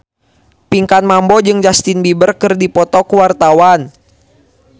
Pinkan Mambo jeung Justin Beiber keur dipoto ku wartawan